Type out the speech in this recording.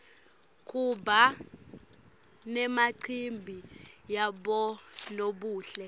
kuba nemacimbi yabonobuhle